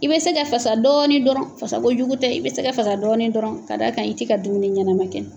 I bɛ se ka fasa dɔɔni dɔrɔn fasako jugu tɛ i bɛ se ka fa dɔɔni dɔrɔn ka d'a kan i t' i ka dumuni ɲɛnɛma kɛ.